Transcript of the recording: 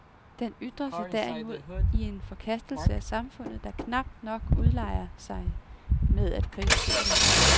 Den ytrer sig derimod i en forkastelse af samfundet, der knap nok ulejliger sig med at kritisere det.